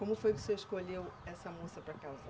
Como foi que o senhor escolheu essa moça para casar?